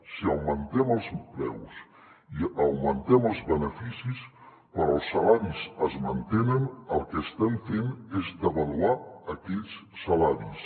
si augmentem els preus i augmentem els beneficis però els salaris es mantenen el que estem fent és devaluar aquells salaris